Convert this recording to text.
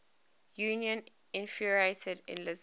union infuriated elizabeth